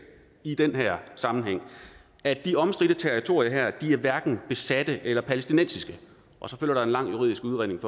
i den her sammenhæng at de omstridte territorier her hverken er besatte eller palæstinensiske og så følger der en lang juridisk udredning